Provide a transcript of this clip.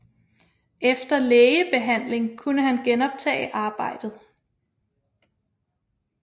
Efter lægebehandling kunne han genoptage arbejdet